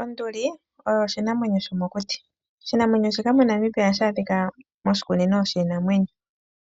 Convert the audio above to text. Onduli oyo oshinamwenyo shomokuti. Oshinamwenyo shika moNamibia ohashi adhika moshikunino shiinamwenyo,